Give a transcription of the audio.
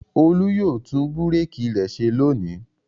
Olú yóò tún búrékì rẹ ṣe lónìí.